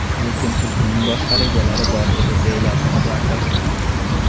Lekin tulkining boshqa rejalari bor edi, deyiladi xabarda.